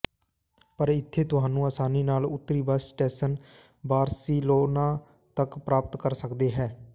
ਪਰ ਇੱਥੇ ਤੁਹਾਨੂੰ ਆਸਾਨੀ ਨਾਲ ਉੱਤਰੀ ਬੱਸ ਸਟੇਸ਼ਨ ਬਾਰ੍ਸਿਲੋਨਾ ਤੱਕ ਪ੍ਰਾਪਤ ਕਰ ਸਕਦੇ ਹੋ